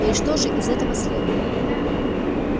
ну и что же из этого следует